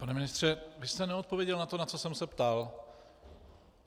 Pane ministře, vy jste neodpověděl na to, na co jsem se ptal.